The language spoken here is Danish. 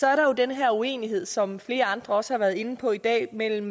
er der jo den her uenighed som flere andre også har været inde på i dag mellem